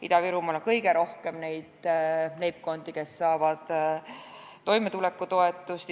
Ida-Virumaal on kõige rohkem neid leibkondi, kes saavad toimetulekutoetust.